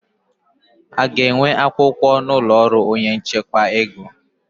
A ga-enwe akwụkwọ n'ụlọ ọrụ onye n'echekwa ego?